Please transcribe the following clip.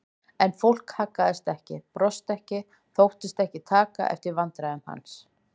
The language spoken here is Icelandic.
En fólkið haggaðist ekki, brosti ekki, þóttist ekki taka eftir vandræðum hans.